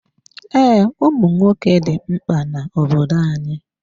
Ee, ụmụnwoke dị mkpa n'obodo anyị.